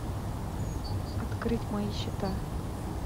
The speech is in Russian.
открыть мои счета